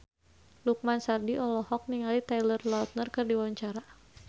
Lukman Sardi olohok ningali Taylor Lautner keur diwawancara